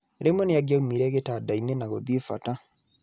Rĩmwe nĩangĩaumire gĩtanda-inĩ na gũthiĩ bata.